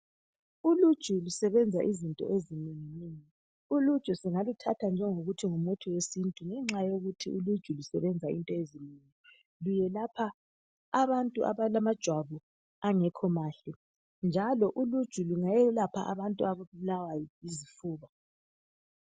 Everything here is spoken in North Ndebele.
Uluju lusebenza izinto ezinenginengi. Uluju singaluthatha njengokuthi ngumuthi wesintu ngenxa yokuthi lusebenza izinto ezinengi. Kuyelapha abantu abalamajwabi angekho mahle njalo uluju lungayelapha abantu ababulawa yizifuba